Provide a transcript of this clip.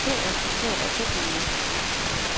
Helt respekteret er technoen ikke.